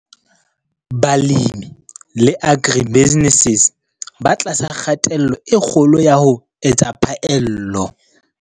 Balemi le agribusinesses ba tlasa kgatello e kgolo ya ho etsa phaello.